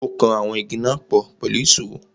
Ó kan àwọn Igi náà pọ̀ pẹ̀lú ìsó.